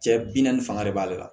Cɛ bi bi naani fanga de b'ale la